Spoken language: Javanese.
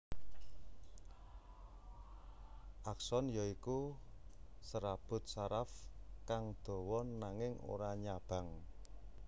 Akson ya iku serabut saraf kang dawa nanging ora nyabang